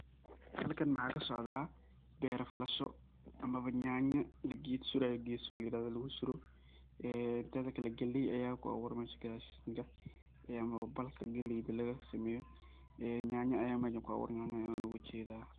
Halkan waxaa kasocdaa ber falasho ama nyaanya la ged surayo, ged sur la yirahdo lugu suro, ee teda kale galey aya ku abuuran mesha gadashii, balka galeyd laga sameeyo ee nyaanya aya meshan ku abuuran an ujedaa